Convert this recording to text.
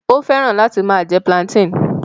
Ó fẹ́ràn láti máa jẹ plantain